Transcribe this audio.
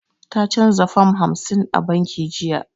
Ta canza fam hamsin a banki jiya.